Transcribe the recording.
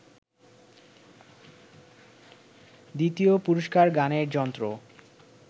দ্বিতীয় পুরস্কার গানের যন্ত্র